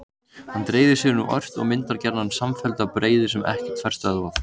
Hann dreifir sér nú ört og myndar gjarnan samfelldar breiður sem ekkert fær stöðvað.